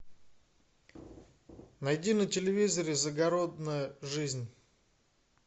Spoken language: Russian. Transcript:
найди на телевизоре загородная жизнь